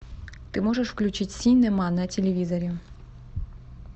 ты можешь включить синема на телевизоре